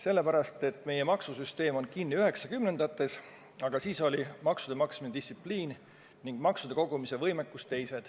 Sellepärast, et meie maksusüsteem on kinni 90-ndates, kui maksude maksmise distsipliin ning maksude kogumise võimekus oli teine.